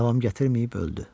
Davam gətirməyib öldü.